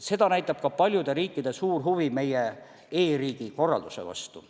Seda näitab ka paljude riikide suur huvi meie e-riigi korralduse vastu.